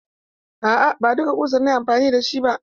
A'a, ba duka ƙusar na yi amfani da ba.